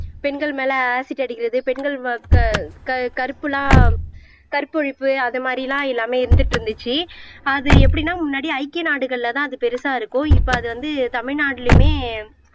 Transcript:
பெண்கள் மேலே ஆசிட் அடிக்கிறது பெண்கள் கருப்பெல்லாம் கற்பழிப்பு அது மாதிரி எல்லாம் எல்லாமே இருந்துட்டு இருந்துச்சு அது எப்படின்னா முன்னாடி ஐக்கிய நாடுகள்லதான் அது பெருசா இருக்கும் இப்ப அது வந்து தமிழ்நாட்டுலயுமே